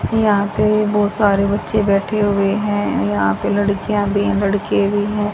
यहां पे बहोत सारे बच्चे बैठे हुए हैं यहां पे लड़कियां भी लड़के भी हैं।